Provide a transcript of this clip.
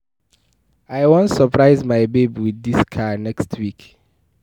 I wan surprise my babe with dis car next week